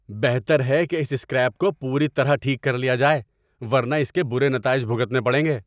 بہتر ہے کہ اس سکریپ کو پوری طرح ٹھیک کر لیا جائے ورنہ اس کے برے نتائج بھگتنے پڑیں گے!